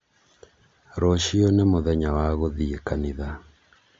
Rũciũ nĩ mũthenya wa gũthiĩ kanitha